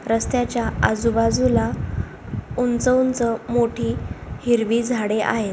रस्त्याच्या आजूबाजूला उंच उंच मोठी हिरवी झाडे आहेत.